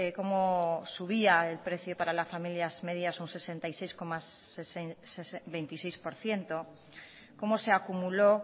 cómo subía el precio para las familias medias un sesenta y seis coma veintiséis por ciento cómo se acumuló